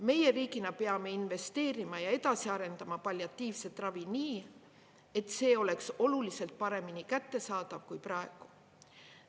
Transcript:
Meie riigina peame investeerima ja edasi arendama palliatiivset ravi nii, et see oleks oluliselt paremini kättesaadav kui praegu.